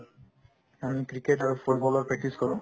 আমি cricket আৰু football ৰ practice কৰো